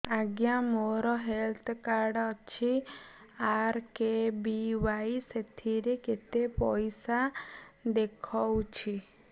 ଆଜ୍ଞା ମୋର health card ଅଛି ଆର୍.କେ.ବି.ୱାଇ ସେଥିରେ କେତେ ପଇସା ଦେଖଉଛି